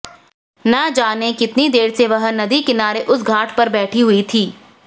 ना जाने कितनी देर से वह नदी किनारे उस घाट पर बैठी हुई थी